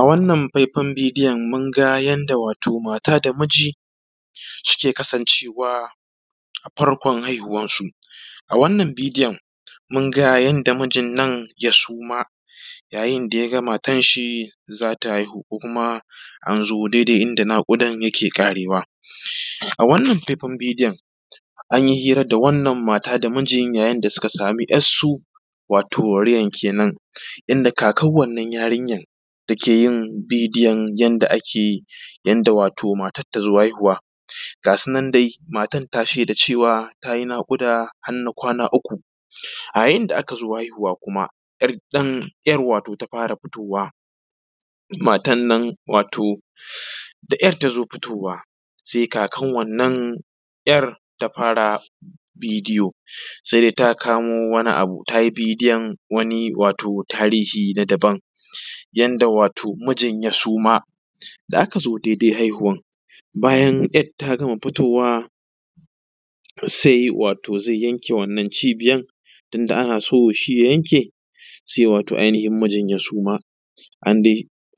A wannan faifai bidiyon mun ga yanda wato mata da miji suke kasancewa a farkon haihuwansu, a wannan bidiyon mun ga yanda mijin ya suma yayin da ya ga matanshi za ta haihu ko kuma an zo daidai inda naƙudan yake ƙarewa. A wanann faifai bidiyon an yi hira da wannan mata da miji yayin da suka samu ‘yar su wato yayin kenan inda kakan wannan yarinya da ke yin bidiyon yanda ake yanda wato matan ta zo haihuwa ga sunan dai matan ta shaida cewa ta yi naƙuda har na kwana uku yayin da aka zo haihuwa kuma ‘yar wato ta fara fitowa, matarnan wato da ‘yar ta zo fitowa. Se kakan wanna ‘yar ta fara bidiyo se ta kamo wani abu ta yi bidiyon, wato wani tahiri na daban yanda wato mijin ya suma da aka zo dai dai haihuwan bayan ‘yar ta gama fitowa se wato ze yanke wannan cibiyar tun da a so shi ya yanke zuwa ainihin mijin ya suma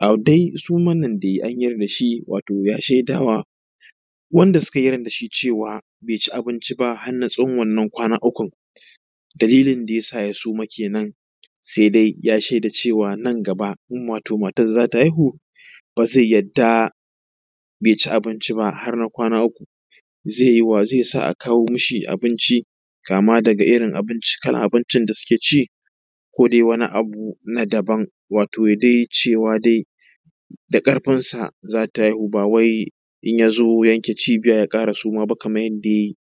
a dai sumar nan da ya yi na yar dashi wato ya shaidawa wanda suka yarda shi cewa be ci abinci ba har na tsawon wannan kwana ukun dalilin da ya sa ya suma kenan. Se dai ya sheda cewa a nan gaba in matar za ta haihu ba ze harda baze ci abinci ba har na kwana uku ze sa a kawo mishi abinci kuma daga irin kalar abincin da suke ci ko dai wani abu na daban wato ya dai cewa dai da ƙarfin sa za ta haihu ba wai in ya zo yanke cibiya ya ƙara suma ba kaman yadda ya yi.